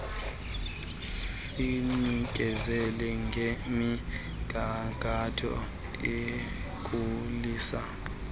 sinikezela ngemigangatho ekhulisa